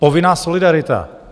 Povinná solidarita.